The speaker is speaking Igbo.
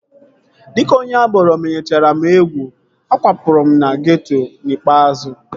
Dịka onye agboro menyechara m egwu, akwapụrụ m na geeto n'ikpeazụ